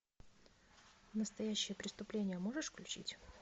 настоящее преступление можешь включить